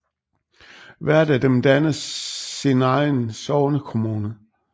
Hvert af dem dannede sin egen sognekommune